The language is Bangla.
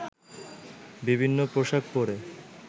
বিভিন্ন পোশাক পরে